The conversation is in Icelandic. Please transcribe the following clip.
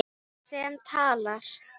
Sem talar.